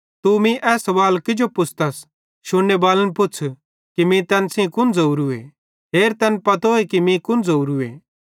तू मीं ए सवाल किजो पुछ़तस शुन्नेबालन पुच़्छ़ू कि मीं तैन सेइं कुन ज़ोवरूए हेर तैन पतोए कि मीं कुन ज़ोवरूए